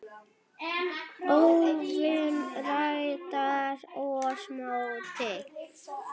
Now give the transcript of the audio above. óvin ræðst oss móti.